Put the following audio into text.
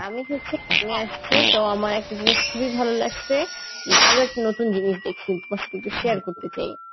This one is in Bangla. আমি হচ্ছে এক~ আমি আসছি তো আমার একটা জিনিষ খুবই ভালো লাগছে উম আরো একটা নতুন জিনিস দেখছি তোমার সাথে একটু share করতে চাই